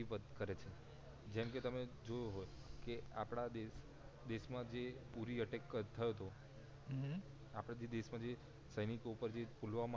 કરે છે જેમ કે તમે જોયો હોય કે આપડા દેશ દેશ માં જે ઉરી અટેક થયો તો આપડા દેશ માં સૈનિકો ઉપર જે પુલવામાં